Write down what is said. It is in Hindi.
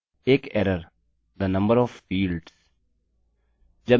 एक error the number of fields!